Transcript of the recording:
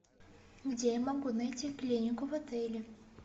где я могу найти клинику в отеле